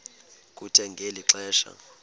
kuthe ngeli xesha